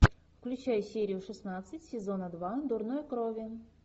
включай серию шестнадцать сезона два дурной крови